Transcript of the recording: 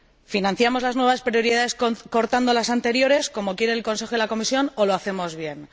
¿Financiamos las nuevas prioridades recortando las anteriores, como quieren el Consejo y la Comisión, o lo hacemos bien?